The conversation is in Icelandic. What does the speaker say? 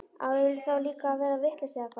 Á ég þá líka að verða vitlaus eða hvað?